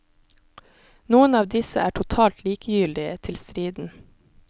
Noen av disse er totalt likegyldige til striden.